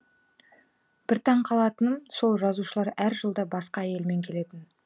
бір таңқалатыным сол жазушылар әр жылда басқа әйелмен келетін